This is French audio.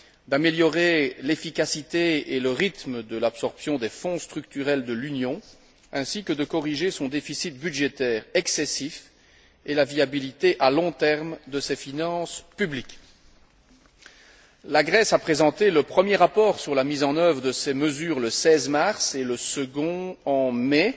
d'améliorer l'efficacité et le rythme de l'absorption des fonds structurels de l'Union, et de corriger son déficit budgétaire excessif et de garantir la viabilité à long terme de ses finances publiques. La Grèce a présenté le premier rapport sur la mise en œuvre de ces mesures le 16 mars et le second en mai.